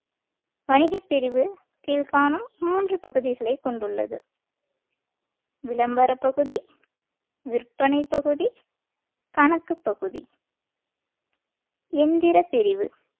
வணிகப் பிரிவு கீழ்காணும் மூன்று பகுதிகளைக் கொண்டுள்ளது விளம்பர பகுதி விற்பனை பகுதி கணக்குப் பகுதி எந்திரப் பிரிவு